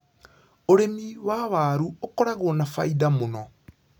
ũrĩmi wa waru ũkoragwo na bainda mũno.